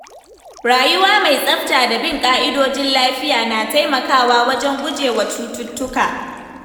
Rayuwa mai tsafta da bin dokokin lafiya na taimakawa wajen gujewa cututtuka.